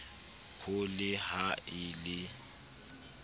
ho le ha e le